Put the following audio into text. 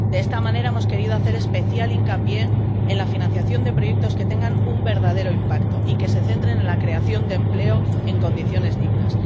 De esta manera, hemos querido hacer especial hincapié en la financiación de proyectos que tengan un verdadero impacto y que se centren en la creación de empleo en condiciones dignas